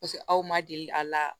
Paseke aw ma deli a la